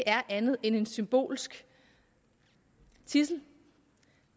er andet end en symbolsk tidsel